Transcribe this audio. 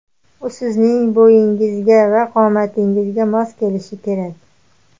U sizning bo‘yingizga va qomatingizga mos kelishi kerak.